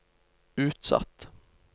utsatt